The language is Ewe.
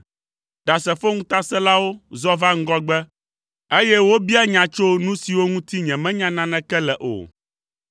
Ɖasefo ŋutasẽlawo zɔ va ŋgɔgbe, eye wobia biabiam tso nu siwo ŋuti nyemenya naneke le o.